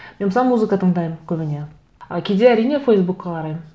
мен мысалы музыка тыңдаймын көбіне ы кейде әрине фейсбукқа қараймын